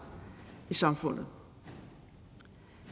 i samfundet